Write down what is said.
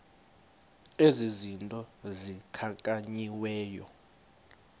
ezi zinto zikhankanyiweyo